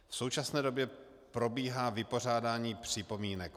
V současné době probíhá vypořádání připomínek.